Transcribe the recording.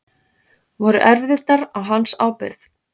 Voru erfðirnar á hans ábyrgð?